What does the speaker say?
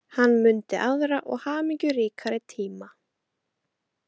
Hann mundi aðra og hamingjuríkari tíma.